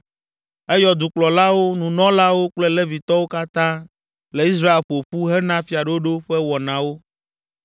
Eyɔ dukplɔlawo, nunɔlawo kple Levitɔwo katã le Israel ƒo ƒu hena fiaɖoɖo ƒe wɔnawo.